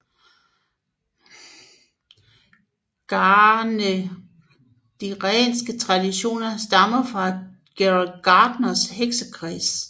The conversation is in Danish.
Gardnerianske traditioner stammer fra Gerald Gardners heksekreds